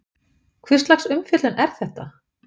Hvurslags umfjöllun er þetta?